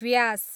व्यास